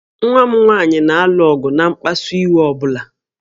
Nwa m nwaanyị na-alụ ọgụ na mkpasu iwe ọ bụla